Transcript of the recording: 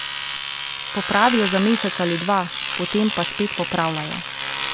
Popravijo za mesec ali dva, potem pa spet popravljajo.